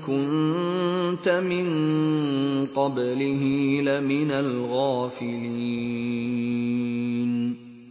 كُنتَ مِن قَبْلِهِ لَمِنَ الْغَافِلِينَ